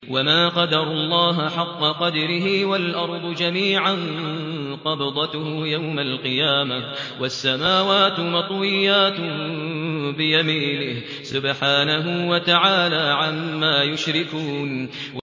وَمَا قَدَرُوا اللَّهَ حَقَّ قَدْرِهِ وَالْأَرْضُ جَمِيعًا قَبْضَتُهُ يَوْمَ الْقِيَامَةِ وَالسَّمَاوَاتُ مَطْوِيَّاتٌ بِيَمِينِهِ ۚ سُبْحَانَهُ وَتَعَالَىٰ عَمَّا يُشْرِكُونَ